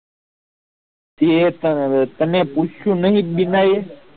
તે તને પૂછ્યું નહી બીના એ